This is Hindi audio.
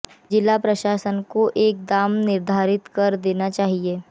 जिला प्रशासन को एक दाम निर्धारित कर देने चाहिए